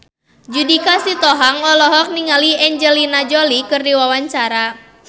Judika Sitohang olohok ningali Angelina Jolie keur diwawancara